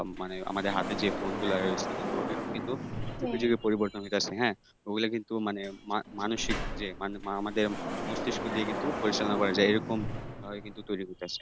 মানে আমাদের হাতে যে phone গুলো রয়েছে কিন্তু এখন কিন্তু কিছুটা পরিবর্তন হইতাছে হ্যাঁ? ওগুলা কিন্তু মানে মানসিক যে আমাদের মস্তিষ্ক দিয়ে কিন্তু পরিচালনা করা যায়, এরকম ধরনের কিন্তু তৈরি হইতাছে,